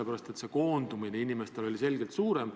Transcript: raskuse koondumine inimestele on selgelt suurem.